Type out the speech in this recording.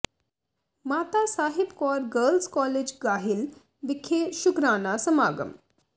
ਮਾਤਾ Sahib Kaur girls college Gahil ਵਿਖੇ ਸ਼ੁਕਰਾਨਾ ਸਮਾਗਮ